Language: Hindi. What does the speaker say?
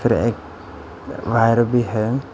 यह एक वायर भी है।